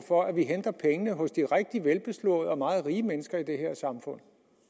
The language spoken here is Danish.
for at vi henter pengene hos de rigtig velbeslåede og meget rige mennesker i det her samfund